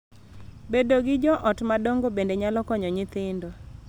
Bedo gi jo ot madongo bende nyalo konyo nyithindo .